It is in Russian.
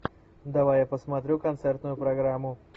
давай я посмотрю концертную программу